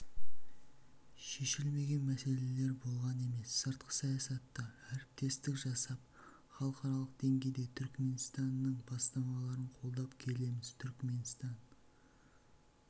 шешілмеген мәселелер болған емес сыртқы саясатта әріптестік жасап халықаралық деңгейде түрікменстанның бастамаларын қолдап келеміз түрікменстан